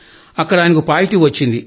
అక్కడ ఆయనకు పాజిటివ్ వచ్చింది